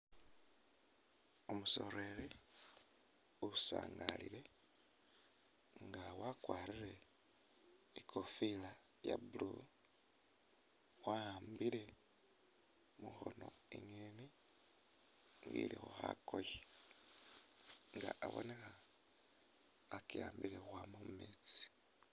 Umusoleli usangalile nga wakwarire ikofila iya blue, wa’ambile mukhono enyeni ilikho khakoye nga abonekha akiwambile ukhwama mumetsi.